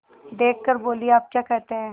देख कर बोलीआप क्या कहते हैं